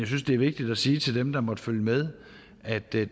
synes det er vigtigt at sige til dem der måtte følge med at det